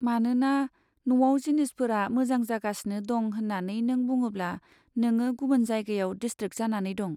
मानोना, न'आव जिनिसफोरा मोजां जागासिनो दं होन्नानै नों बुङोब्ला, नोंङो गुबुन जायगायाव डिसट्रेक जानानै दं।